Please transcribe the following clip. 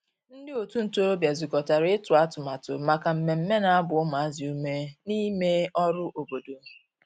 ndi otu ntorobia zukotara itu atụmatụ maka mmeme na agba umuazi ume n'ime ọrụ obodo.